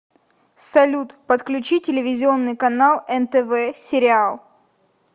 салют подключи телевизионный канал нтв сериал